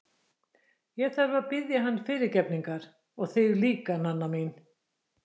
Ég þarf að biðja hann fyrirgefningar og þig líka, Nanna mín.